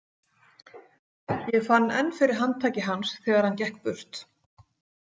Ég fann enn fyrir handtaki hans þegar hann gekk burt.